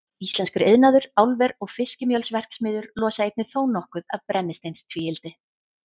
Íslenskur iðnaður, álver og fiskimjölsverksmiðjur losa einnig þónokkuð af brennisteinstvíildi.